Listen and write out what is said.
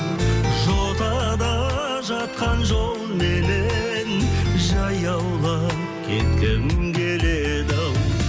жотада жатқан жолменен жаяулап кеткім келеді ау